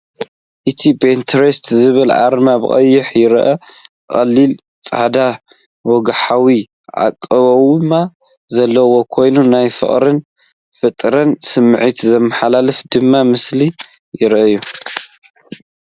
እቲ “Pinterest” ዝብል ኣርማ ብቐይሕ ይረአ። ቀሊል ጻዕዳ ወግዓዊ ኣቃውማ ዘለዎ ኮይኑ፡ ናይ ፍቕርን ፈጠራን ስምዒት ዘመሓላልፍ ድማ መሲሉ ይረአ።